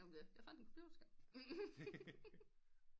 Snak om det jeg fandt en computer skærm